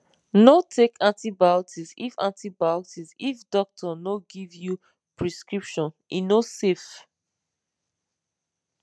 no take antibiotics if antibiotics if doctor no give you prescription e no safe